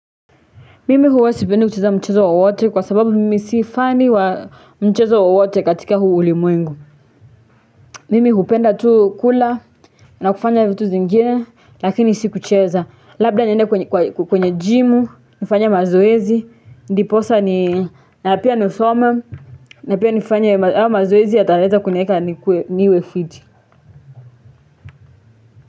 Mimi huwesipendi kucheza mchezo wa wote kwa sababu mimi siifani wa mchezo wa wote katika huu liumwengu. Mimi hupenda tu kula na kufanya vitu zingine lakini si kucheza. Labda nyende kwenye jimu, nifanye mazoezi, ndiposa na apia nisome na apia nifanya mazoezi ya taeza kuneeka niwefiti.